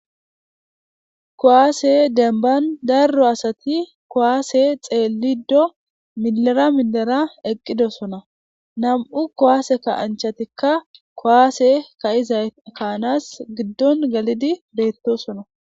Kowaase denban darro asati kowaase xeelido milera milera eqqidosona nam'u kowaase ka anchatikka kowaase ka'izay kaanas giddon galidi beettosona.